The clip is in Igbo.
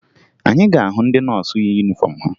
Anyị ga-ahụ ndị nọọsụ yi yunifọmụ ha